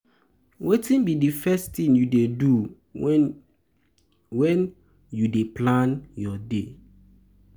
um wetin um be di first thing you dey do um when you dey when you dey plan your day?